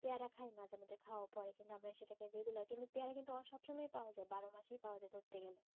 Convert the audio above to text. পেয়ারা খাই মাঝে মধ্যে খোয়া পরে কিন্তু আমরা সেটা কে regular কিন্তু পেয়ারা কিন্তু সব সময় পাওয়া যায় বারো মাসিই পাওয়াযায় ধরতে গেলে